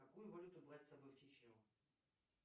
какую валюту брать с собой в чечню